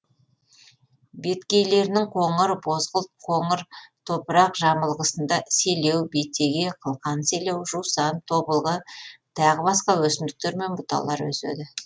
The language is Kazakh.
беткейлерінің қоңыр бозғылт қоңыр топырақ жамылғысында селеу бетеге қылқан селеу жусан тобылғы тағы басқа өсімдіктер мен бұталар өседі